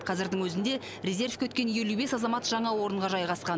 қазірдің өзінде резервке өткен елу бес азамат жаңа орынға жайғасқан